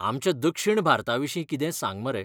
आमच्या दक्षीण भारताविशीं कितें सांग मरे.